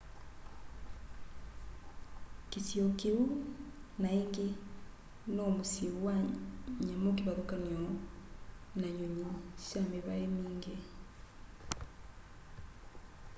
kĩsio kĩũ naĩngĩ no mũsyĩ wa nyamũ kĩvathũkanyo na nyũnyĩ sha mĩvaĩ mĩngĩ